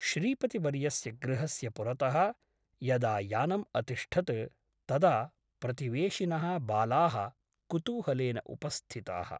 श्रीपतिवर्यस्य गृहस्य पुरतः यदा यानम् अतिष्ठत् तदा प्रतिवेशिनः बालाः कुतूहलेन उपस्थिताः ।